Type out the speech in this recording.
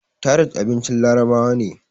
tharid abincin larabawa ne